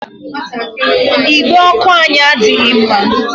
Igbe ọkụ anyị adịghị mma.